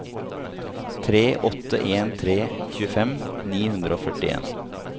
tre åtte en tre tjuefem ni hundre og førtien